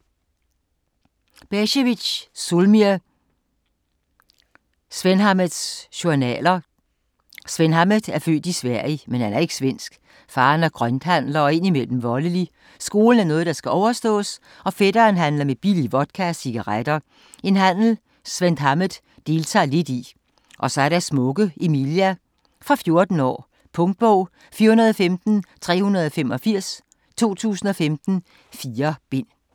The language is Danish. Becevic, Zulmir: Svenhammeds journaler Svenhammed er født i Sverige, men er ikke svensk. Faderen er grønthandler og indimellem voldelig, skolen noget der skal overståes, og fætteren handler med billig vodka og cigaretter, en handel Svenhammed deltager lidt i. Og så er der smukke Emilia. Fra 14 år. Punktbog 415385 2015. 4 bind.